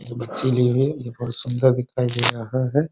एक बच्ची ली हुई है ये बहुत सुन्दर दिखाई दे रहा है ।